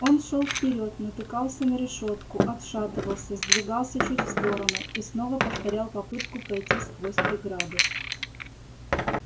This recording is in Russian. он шёл вперёд натыкался на решётку отшатывался сдвигался чуть в сторону и снова повторял попытку пройти сквозь преграду